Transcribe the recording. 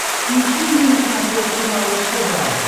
включи мне на смотрешке малыш тв